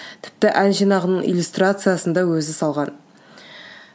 тіпті ән жинағының иллюстрациясын да өзі салған